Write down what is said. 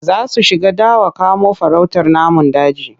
Za su shiga dawa kamo farautar namun daji.